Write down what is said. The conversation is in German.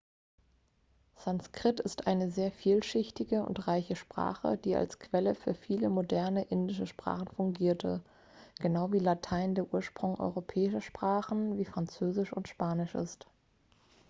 sanskrit ist eine sehr vielschichtige und reiche sprache die als quelle für viele moderne indische sprachen fungierte genau wie latein der ursprung europäischer sprachen wie französisch und spanisch ist